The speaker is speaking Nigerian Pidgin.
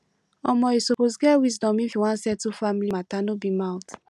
omo you suppose get wisdom if you wan settle family mata no be mouth